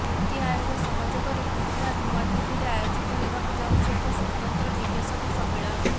ନିତି ଆୟୋଗ ସହଯୋଗରେ ଗୁରୁବାର ନୂଆଦିଲ୍ଲୀରେ ଆୟୋଜିତ ହେବାକୁ ଯାଉଛି ଏକ ସ୍ୱତନ୍ତ୍ର ନିବେଶକ ସମ୍ମିଳନୀ